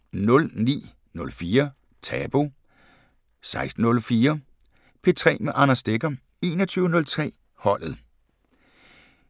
09:04: Tabu 16:04: P3 med Anders Stegger 21:03: Holdet